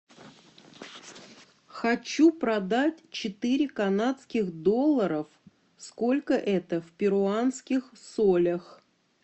хочу продать четыре канадских долларов сколько это в перуанских солях